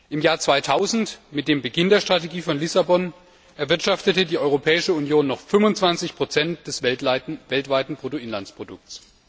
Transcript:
Im Jahr 2000 mit dem Beginn der Strategie von Lissabon erwirtschaftete die Europäische Union noch 25 des weltweiten Bruttoinlandsprodukts.